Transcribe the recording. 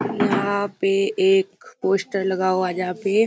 यहाँ पे एक पोस्टर लगा हुआ है जहाँ पे --